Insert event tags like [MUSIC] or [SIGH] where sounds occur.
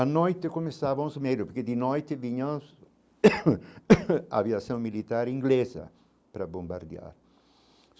À noite começávamos a medir, porque de noite vinham [UNINTELLIGIBLE] [COUGHS] a aviação militar inglesa para bombardear.